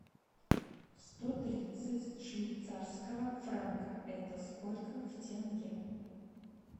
сто тридцать швейцарского франка это сколько в тенге